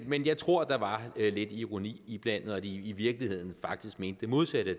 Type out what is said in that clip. men jeg tror der var lidt ironi iblandet og at de i virkeligheden mente det modsatte af